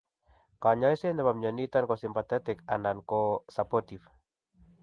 Kanyaiset nebo mnyoniton ko symptomatic and supportive